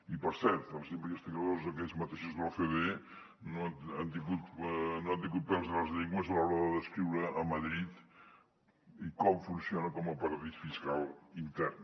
i per cert els investigadors aquells mateixos de l’ocde no han tingut pèls a les llengües a l’hora de descriure a madrid com funciona com a paradís fiscal intern